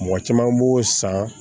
Mɔgɔ caman b'o san